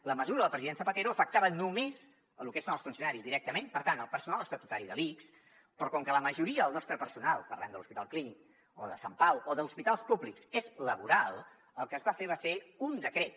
la mesura del president zapatero afectava només el que són els funcionaris directament per tant el personal estatutari de l’ics però com que la majoria del nostre personal parlem de l’hospital clínic o de sant pau o d’hospitals públics és laboral el que es va fer va ser un decret